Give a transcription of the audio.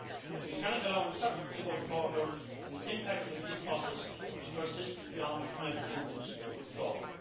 We cannot allow uncertainty about the border and its impact on the peace process to persist beyond the United Kingdom's withdrawal.